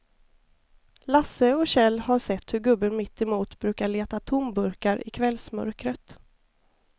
Lasse och Kjell har sett hur gubben mittemot brukar leta tomburkar i kvällsmörkret.